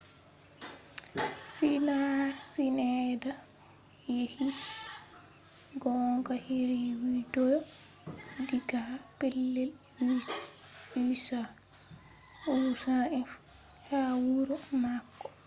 sinaida yecci gonga heri widiyo diga pellel usaf ha wuro mako